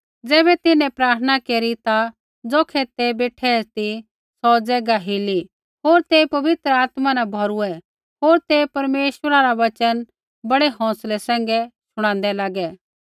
ज़ैबै तिन्हैं प्रार्थना केरी ता ज़ौखै ते बेठै ती सौ ज़ैगा हिली होर ते पवित्र आत्मा न भौरूऐ होर ते परमेश्वरा रा वचन बड़ै हौंसलै सैंघै शुणादै लागै